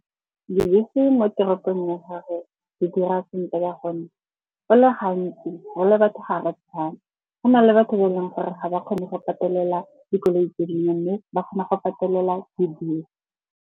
Dibese mo toropong ya gage di dira sentle ka gonne go le gantsi re le batho ga re tshwane. Go na le batho ba e leng gore ga ba kgone go patelela dikoloi tse dingwe, mme ba kgona go patelela dibese.